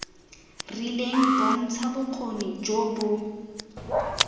rileng bontsha bokgoni jo bo